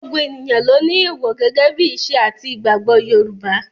Gbogbo èèyàn ló ni èèwò gẹ́gẹ́ bí ìṣe àti ìgbàgbọ́ Yorùbá.